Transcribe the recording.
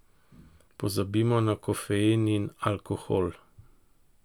Pozabimo na kofein in alkohol.